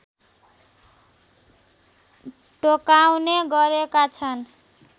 टोकाउने गरेका छन्